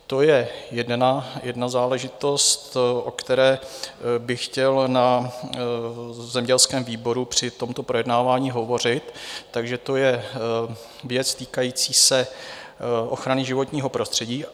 To je jedna záležitost, o které bych chtěl na zemědělském výboru při tomto projednávání hovořit, takže to je věc týkající se ochrany životního prostředí.